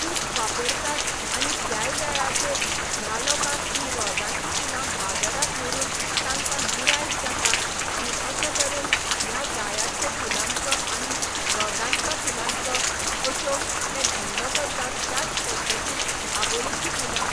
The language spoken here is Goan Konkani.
खूब वापरतात आनी त्याय वेळाचेर ह्या लोकांक ही रोजांची फुलां बाजराक व्हरून तांका गिरायक जाता आनी अशें तरेन ह्या जायाचो फुलांचो आनी रोजांच्या फुलांचो अश्यो ते धंदो करतात त्याच पद्दतीन आबोलेची फुलां